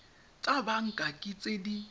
tsa banka ke tse di